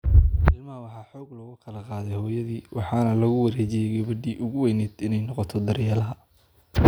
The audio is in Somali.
Ilmaha waxaa xoog looga kala qaaday hooyadii, waxaana lagu wareejiyay gabadhii ugu weynayd inay noqoto daryeelaha.